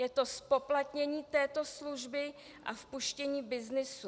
Je to zpoplatnění této služby a vpuštění byznysu.